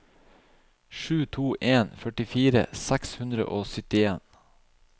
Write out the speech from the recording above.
sju to en en førtifire seks hundre og syttien